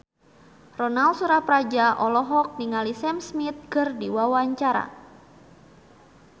Ronal Surapradja olohok ningali Sam Smith keur diwawancara